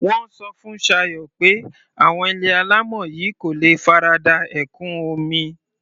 Mo sọ fún Ṣayọ̀ pé àwọn ilé alámọ̀ yìí kò lè farada ẹ̀kún omi.